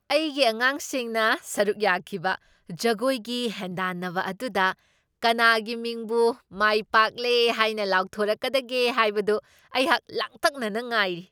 ꯑꯩꯒꯤ ꯑꯉꯥꯡꯁꯤꯡꯅ ꯁꯔꯨꯛ ꯌꯥꯈꯤꯕ ꯖꯒꯣꯏꯒꯤ ꯍꯦꯟꯗꯥꯟꯅꯕ ꯑꯗꯨꯗ ꯀꯅꯥꯒꯤ ꯃꯤꯡꯕꯨ ꯃꯥꯏꯄꯥꯛꯂꯦ ꯍꯥꯏꯅ ꯂꯥꯎꯊꯣꯔꯛꯀꯗꯒꯦ ꯍꯥꯏꯕꯗꯨ ꯑꯩꯍꯥꯛ ꯂꯥꯡꯇꯛꯅꯅ ꯉꯥꯏꯔꯤ꯫